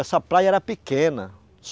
Essa praia era pequena.